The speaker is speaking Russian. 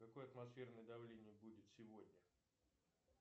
какое атмосферное давление будет сегодня